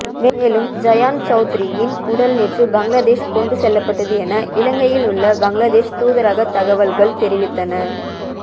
மேலும் ஜயான் சௌத்ரியின் உடல் நேற்று பங்களாதேஷ் கொண்டு செல்லப்பட்டது என இலங்கையிலுள்ள பங்களாதேஷ் தூதரகத் தகவல்கள் தெரிவித்தன